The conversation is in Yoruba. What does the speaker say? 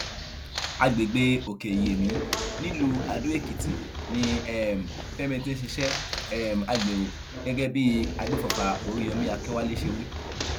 àgbègbè òkèiyèmí nílùú àdóèkìtì ni um fẹmi ti ń ṣiṣẹ um agbéró gẹgẹ bí àgbéfọfà oríyọmi akínwálé ṣe wí